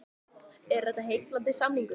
Er þetta heillandi samningur?